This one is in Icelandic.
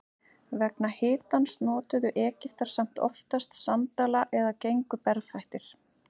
Vegna hitans notuðu Egyptar samt oftast sandala eða gengu berfættir.